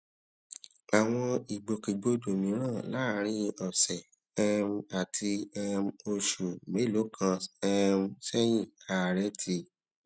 àwọn ìgbòkègbodò mìíràn láàárín ọ̀sẹ̀ um àti um oṣù mélòó kan um séyìn ààrẹ ti